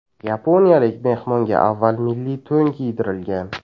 Yaponiyalik mehmonga avval milliy to‘n kiydirilgan.